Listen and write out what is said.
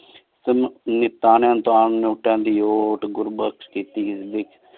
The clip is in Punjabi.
ਸੀਮਤ ਨੀਤਾਂ ਅਲ੍ਤਾਂ ਨੋਉਤਾ ਦੀ ਘੁਰ੍ਬਤ ਕੀਤੀ ਆਯ